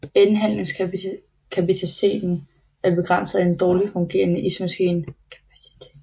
Indhandlingskapaciteten er begrænset af en dårligt fungerende ismaskine